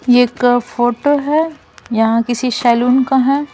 ये एक फोटो है यहां किसी शैलून का है।